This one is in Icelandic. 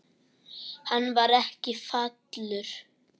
Hann var ekki falur.